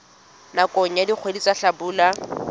nakong ya dikgwedi tsa hlabula